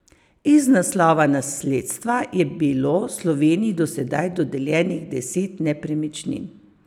Iz naslova nasledstva je bilo Sloveniji do sedaj dodeljenih deset nepremičnin.